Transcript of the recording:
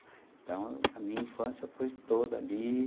Então, a minha infância foi toda ali.